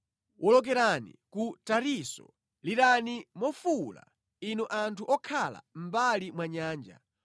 Wolokerani ku Tarisisi, lirani mofuwula, inu anthu okhala mʼmbali mwa nyanja.